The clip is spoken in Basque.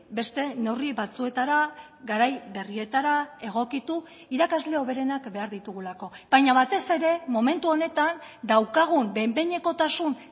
beste neurri batzuetara garai berrietara egokitu irakasle hoberenak behar ditugulako baina batez ere momentu honetan daukagun behin behinekotasun